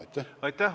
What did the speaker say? Aitäh!